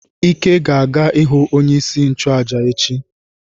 Ike ga-aga ihu onye isi nchụaja echi.